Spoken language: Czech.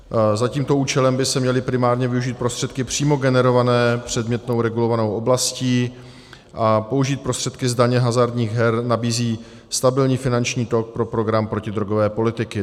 Za tímto účelem by se měly primárně využít prostředky přímo generované předmětnou regulovanou oblastí, a použít prostředky z daně z hazardních her nabízí stabilní finanční tok pro program protidrogové politiky.